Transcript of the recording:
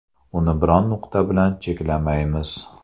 Uni biron ‘nuqta’ bilan cheklamaymiz.